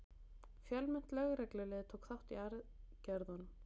Fjölmennt lögreglulið tók þátt í aðgerðunum